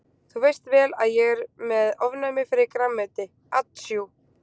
Þú veist vel að ég er með ofnæmi fyrir grænmeti atsjú.